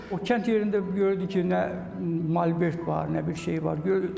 O kənd yerində görürdüm ki, nə malbert var, nə bir şey var.